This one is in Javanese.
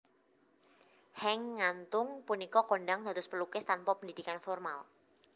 Henk Ngantung punika kondhang dados pelukis tanpa pendidikan formal